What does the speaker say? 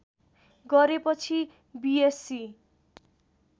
गरेपछि बिएस्सी